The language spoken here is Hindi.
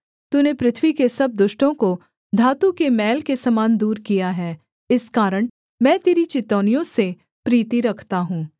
तूने पृथ्वी के सब दुष्टों को धातु के मैल के समान दूर किया है इस कारण मैं तेरी चितौनियों से प्रीति रखता हूँ